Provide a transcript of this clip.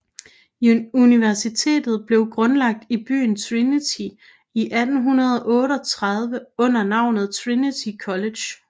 Universitetet blev grundlagt i byen Trinity i 1838 under navnet Trinity College